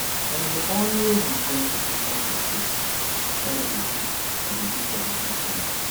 i dey always enjoy to perform for stage wen i dey do i dey do traditional songs